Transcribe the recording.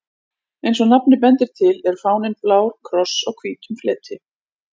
Eins og nafnið bendir til er fáninn blár kross á hvítum fleti.